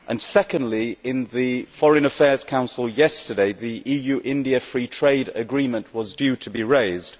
Secondly, in the Foreign Affairs Council yesterday, the EU India Free Trade Agreement was due to be raised.